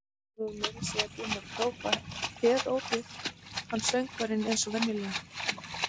Þeir voru meira að segja búnir að hrópa herópið, hann forsöngvarinn eins og venjulega.